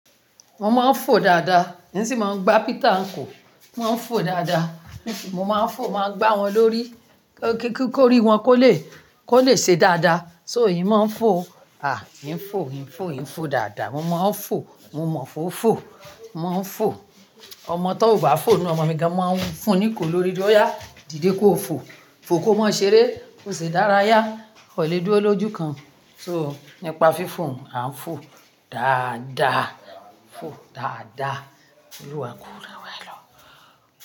Mo máa ń fò dáadáa, mo sì máa ń gbá pika n kò. Mo máa ń fò dáadáa, mo sì, mo máa ń fò, màá gbá wọn lórí, kí ó rí wọn kó le, kó lè ṣe dáadáa. So ìyín máa ń fò, à, ìyín ń fò, ìyín ń fò, ìyín ń fò dáadáa. Mo máa ń fò, mo mọ̀ fó fo, mo máa ń fò. Ọmọ tó ò bá fò inú ọmọ mi gan máa ń fún un ní kò lórí oya, dìde kó o fò. Fò kó má ṣe eré, kó ṣe dárayá, o lè dúró lójú kan. So nípa fífo, à ń fò dáadáa, fò dáadáa. Olúwa kò rẹwà ẹ lọ.